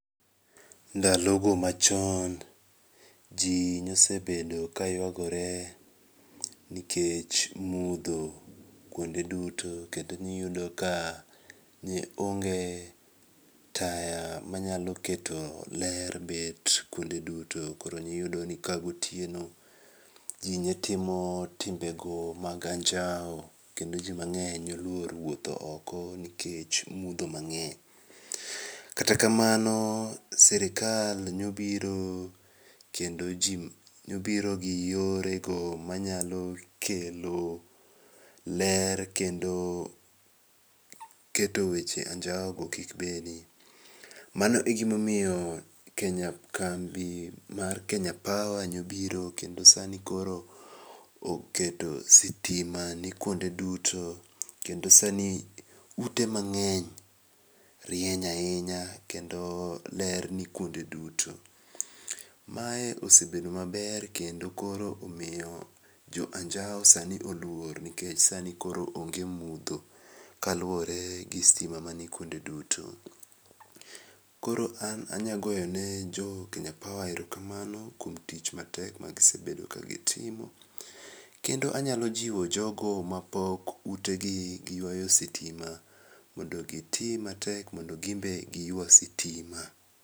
Ndalogo machon jii nosebedo kayuagore nikech mudho kuonde duto kendo niyudo ka neonge taya manyalo keto ler bet kuonde duto koro niyudoni ka gotieno jii netimo timbego mag anjau kendo jii mang'eny noluor wuotho oko nikech mudho mang'eny. Kata kamano sirikal nobiro gi yore go manyalo kelo ler kendo keto weche anjaugo kibedi, mano egimomiyo kambi mar Kenya Power nobiro kendo sani koro oketo sitima ni kuonde duto kendo sani ute mang'eny rieny ahinya kendo ler ni kuonde duto. Mae osebedo maber kendo koro omiyo jo anjau sani oluor nikech sani koro onge mudho kaluore gi sitima manikuonde duto. Koro an anyagoyone jo Kenya Power erokamano kuom tich matek magisebedo kagitimo, kendo anyalo jiwo jogo mapok utedi giyuayo sitima mondo giti matek mondo gimbe giyua sitima.